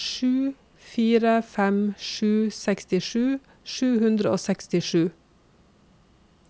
sju fire fem sju sekstisju sju hundre og sekstisju